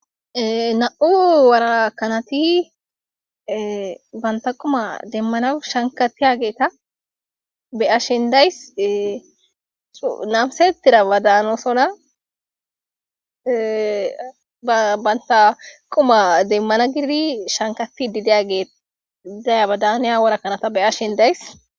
Nam,u warakanati banta quma demmana shankatiya geeta beashin days namsetira badaanosona banta quma demmana gididi shankati didagidayabadaaniya warakanata beyash hin days.